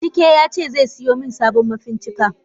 Chike yace zesiyo min sabon ma fincika.